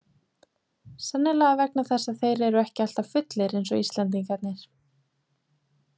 Sennilega vegna þess að þeir eru ekki alltaf fullir eins og Íslendingarnir.